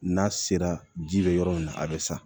N'a sera ji bɛ yɔrɔ min na a bɛ sa